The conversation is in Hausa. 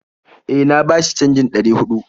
E, na bashi canjin ɗari huɗu